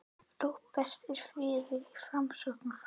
Róbert: En er friður í Framsóknarflokknum um þessi mál?